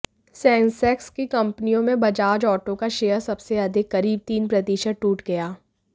Sensex की कंपनियों में बजाज ऑटो का शेयर सबसे अधिक करीब तीन प्रतिशत टूट गया